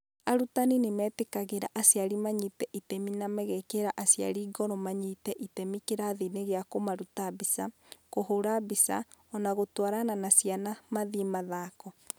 Arutani nĩ metĩkagĩra aciari manyite itemi na magekĩra aciari ngoro manyite itemi kĩrathiinĩ gĩa kũmaruta mbica, kũhũũra mbica, o na gũtwarana na ciana mathiĩ mathako.